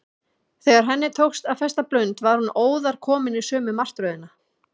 Þegar henni tókst að festa blund var hún óðar komin í sömu martröðina.